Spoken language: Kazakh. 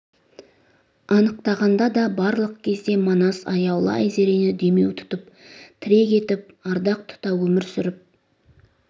анықтағанда да барлық кезде манас аяулы айзерені демеу тұтып тірек етіп ардақ тұта өмір сүріп